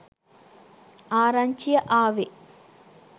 ආරංචිය ආවෙ.